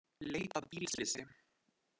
Leita að bílslysi